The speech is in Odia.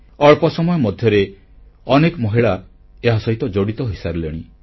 ଅଳ୍ପ ସମୟ ମଧ୍ୟରେ ଅନେକ ମହିଳା ଏହାସହିତ ଜଡ଼ିତ ହୋଇସାରିଲେଣି